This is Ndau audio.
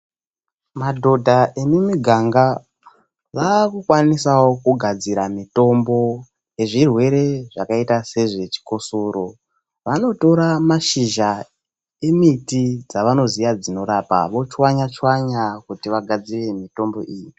Madhodha emumiganga vakukwanisawo kugadzira mitombo yezvirwere zvakaita sezvechikosoro. Vanotora mashizha emiti dzavanoziya dzinorapa vochwanya chwanya kuti vagadzire mitombo iyi.